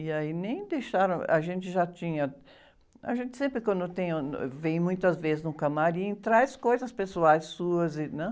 E aí nem deixaram... A gente já tinha... A gente sempre quando tem, ãh, no... Vem muitas vezes num camarim, traz coisas pessoais suas, né?